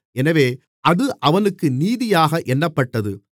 எனவே அது அவனுக்கு நீதியாக எண்ணப்பட்டது